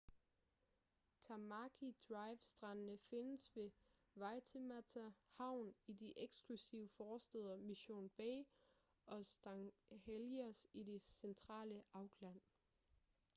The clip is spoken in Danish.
tamaki drive strandene findes ved waitemata havn i de eksklusive forstæder mission bay og st heliers i det centrale auckland